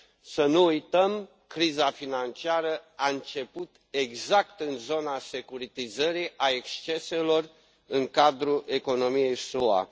Să nu uităm, criza financiară a început exact în zona securitizării, a exceselor în cadrul economiei SUA.